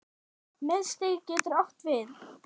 Miðstig getur átt við